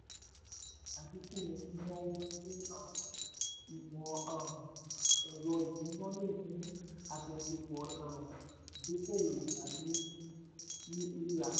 àdínkú àdínkú nínáwó sí um ìmọ̀ um ẹ̀rọ ìsúná lè mú àjọṣepọ̀ um ìdókòwó tàbí rírà.